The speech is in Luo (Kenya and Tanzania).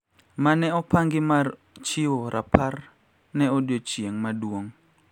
Ma ne opangi mar chiwo rapar ne odiechieng` maduong`